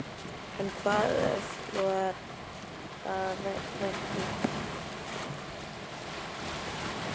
En hvaða öfl voru þar að verki?